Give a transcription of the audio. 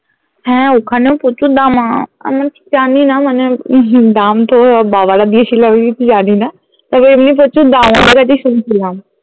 হ্যাঁ ওখানেও প্রচুর দাম আহ আমিও ঠিক জানি না মানে উম হম দাম তো বাবা রা দিয়েছিলো আমি কিছু জানি না আর এমনি প্রচুর দাম বাবার কাছেই শুনছিলাম